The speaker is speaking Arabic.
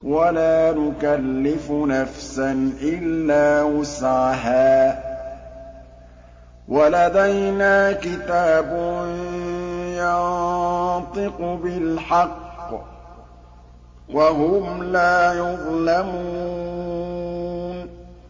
وَلَا نُكَلِّفُ نَفْسًا إِلَّا وُسْعَهَا ۖ وَلَدَيْنَا كِتَابٌ يَنطِقُ بِالْحَقِّ ۚ وَهُمْ لَا يُظْلَمُونَ